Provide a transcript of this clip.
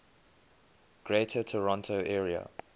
greater toronto area